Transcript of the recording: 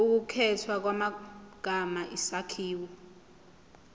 ukukhethwa kwamagama isakhiwo